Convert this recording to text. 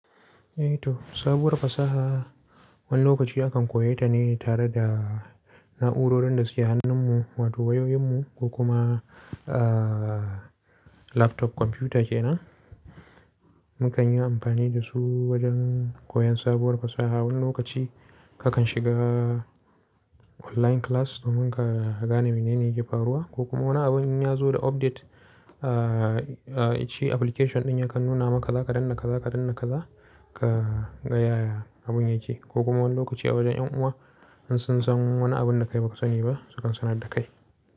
Eh to, sabuwar fasaha wani lokaci akan koyi ta ne tare da na'urorin da suke hannun mu wato wayoyin mu ko kuma, aa laptop komputa kena. Mukan yi amfani da su wajen koyan sabuwar fasaha. Wani lokaci kakan shiga online class domin ka gane mene ne yake faruwa ko kuma wani abin ya zo da update, aa aa shi application din yakan nuna maka za ka danna ka za ka danna ka za ka ga yaya abin yake. Ko kuma wani lokaci a wajen yan uwa in sun san wani abun da kai ba ka sani ba su kan sanar da kai.